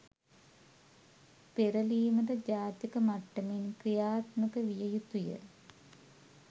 පෙරලීමට ජාතික මට්ටමෙන් ක්‍රියාත්මක විය යුතුය